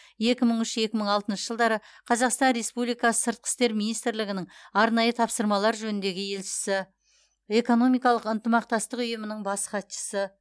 екі мың үш екі мың алтыншы жылдары қазақстан республикасы сыртқы істер министрлігінің арнайы тапсырмалар жөніндегі елшісі экономикалық ынтымақтастық ұйымының бас хатшысы